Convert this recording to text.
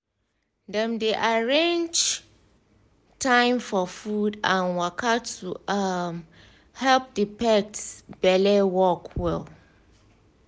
dem arrange time for food and waka to um help the pet belle work well.